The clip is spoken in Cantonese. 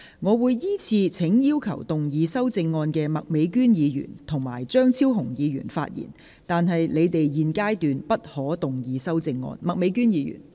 我會依次請要動議修正案的麥美娟議員、邵家臻議員及張超雄議員發言，但他們在現階段不可動議修正案。